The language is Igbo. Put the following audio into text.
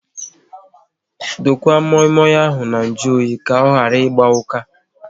Dokwa moi moi ahụ na nju oyi ka ọ ịgba ụka